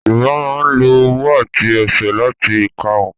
Yorùbá máa ń lo ọwọ́ àti ẹsẹ̀ láti ka òǹkà